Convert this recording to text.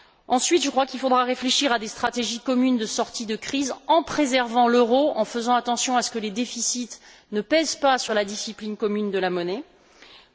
Ensuite, je crois qu'il faudra réfléchir à des stratégies communes de sortie de crise en préservant l'euro, en veillant à ce que les déficits ne pèsent pas sur la discipline monétaire commune.